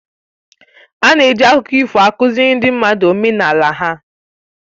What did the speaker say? Ana eji akụkọ ifo akụziri ndị mmadụ omenala ha